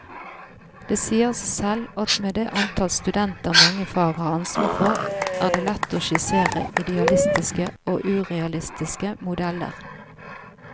Det sier seg selv at med det antall studenter mange fag har ansvar for, er det lett å skissere idealistiske og urealistiske modeller.